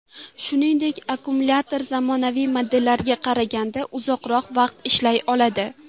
Shuningdek, akkumulyator zamonaviy modellarga qaraganda uzoqroq vaqt ishlay oladi.